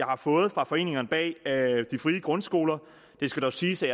har fået fra foreningerne bag de frie grundskoler det skal dog siges at